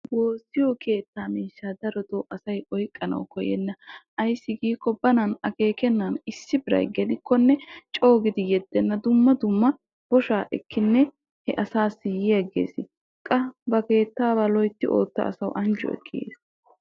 Woosiyo keetta miishsha darotto asay oyqqana koyenna ayssi giikko dogettiddi asan gelikko lo'o giddenna qassikka loytti oyqqikko anjjuwa ekkiddi yees.